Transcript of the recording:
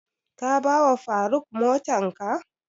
Ka ba wa faruk motan ka?